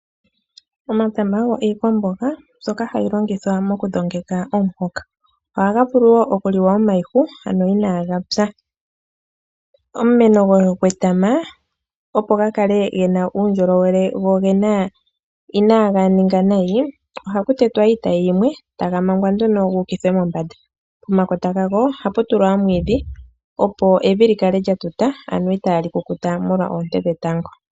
Omatama ogo iikwamboga mbyoka hayi longithwa mokudhongeka omuhoka. Ohaga vulu wo okuliwa omayihu, ano inaaga pya. Omumeno gwetama opo ga kale gena uundjolowele go inaaga ninga nayi, ohaku tetwa iitayi yimwe taga mangwa nduno gu ukithwe mombanda. Pomakota gago ohapu tulwa omwiidhi opo evi lyi kale lya tuta ano itaali kukuta molwa oonte dhetango.